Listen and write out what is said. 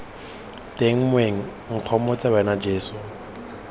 teng moeng nkgomotse wena jeso